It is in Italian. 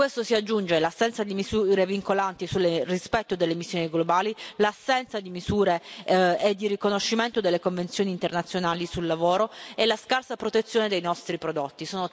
A questo si aggiungono l'assenza di misure vincolanti sul rispetto delle emissioni globali, l'assenza di misure e di riconoscimento delle convenzioni internazionali sul lavoro, e la scarsa protezione dei nostri prodotti.